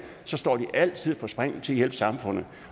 står de altid på spring til at hjælpe samfundet